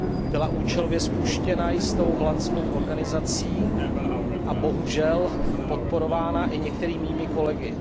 Byla účelově spuštěna jistou holandskou organizací a je bohužel podporována i některými mými kolegy.